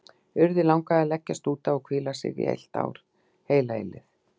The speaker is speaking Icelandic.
Urði langaði að leggjast út af og hvíla sig, í heilt ár, heila eilífð.